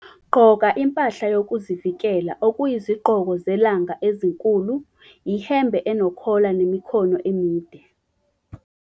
Gqoka impahla yokuzivikela okuyizigqoko zelanga ezinkulu, ihembe enokhola nemikhono emide.